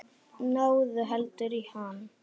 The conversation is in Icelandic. Náðu heldur í hann.